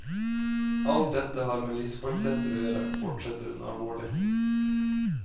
Alt dette har med livskvaliteter å gjøre, fortsetter hun alvorlig.